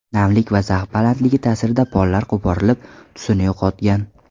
Namlik va zax balandligi ta’sirida pollar qo‘porilib, tusini yo‘qotgan.